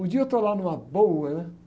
Um dia eu estou lá numa boa, né?